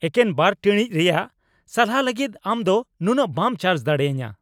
ᱮᱠᱮᱱ ᱒ ᱴᱤᱲᱤᱡ ᱨᱮᱭᱟᱜ ᱥᱟᱞᱦᱟ ᱞᱟᱹᱜᱤᱫ ᱟᱢ ᱫᱚ ᱱᱩᱱᱟᱹᱜ ᱵᱟᱢ ᱪᱟᱨᱡ ᱫᱟᱲᱮᱭᱟᱹᱧᱟ !